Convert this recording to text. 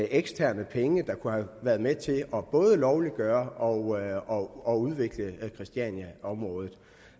eksterne penge der kunne have været med til både at lovliggøre og og udvikle christianiaområdet